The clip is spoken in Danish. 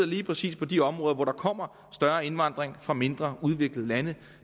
lige præcis på de områder hvor der kommer større indvandring fra mindre udviklede lande